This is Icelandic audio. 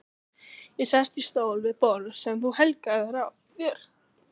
Ég sest í stól við borð sem þú helgaðir þér.